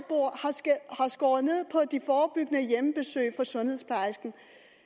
skåret ned på de forebyggende hjemmebesøg fra sundhedsplejersken